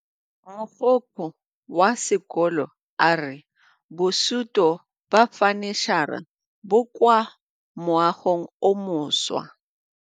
Mogokgo wa sekolo a re bosutô ba fanitšhara bo kwa moagong o mošwa.